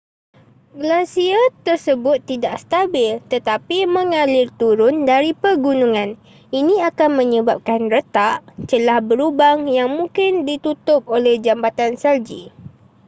glasier tersebut tidak stabil tetapi mengalir turun dari pergunungan ini akan menyebabkan retak celah berlubang yang mungkin ditutup oleh jambatan salji